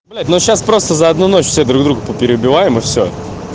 блять но сейчас просто за одну ночь все друг другу перебиваем и все